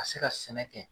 Ka se ka sɛnɛ kɛ